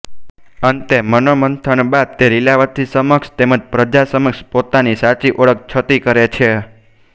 અંતે મનોમંથન બાદ તે લીલાવતી સમક્ષ તેમજ પ્રજા સમક્ષ પોતાની સાચી ઓળખ છતી કરે છે